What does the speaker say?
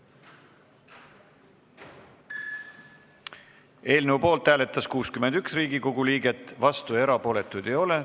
Hääletustulemused Eelnõu poolt hääletas 61 Riigikogu liiget, vastuolijaid ja erapooletuid ei ole.